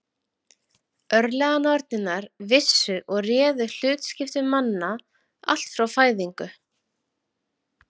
Örlaganornirnar vissu og réðu hlutskiptum manna allt frá fæðingu.